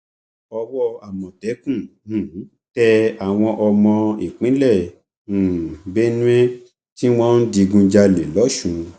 owó àmọtẹkùn um tẹ àwọn àwọn ọmọ ìpínlẹ um benue tí wọn ń digunjalè lọsùn